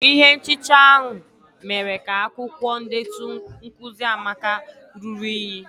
Ihe nchicha ahụ mere ka akwukwo ndetu nkuzi amaka ruru unyi.